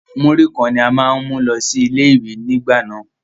Múrí kan ní a máà ń mú lọ sí ilé ìwé nígbà náà.